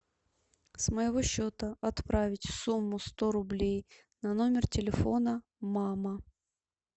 с моего счета отправить сумму сто рублей на номер телефона мама